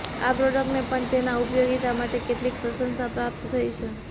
આ પ્રોડક્ટને પણ તેના ઉપયોગિતા માટે કેટલીક પ્રશંસા પ્રાપ્ત થઈ છે